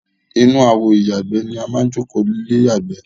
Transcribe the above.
Inú àwo ìyàgbẹ́ ni a máa ń jókòó lé ya ìgbẹ́.